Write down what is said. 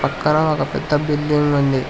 ఇక్కడ ఒక పెద్ద బిల్డింగ్ ఉంది.